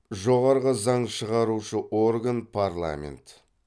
жоғарғы заң шығарушы орган парламент